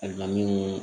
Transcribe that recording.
Ayiwa min